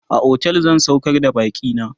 a otel zan saukar da bakina